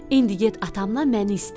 İndi get atamnan məni istə.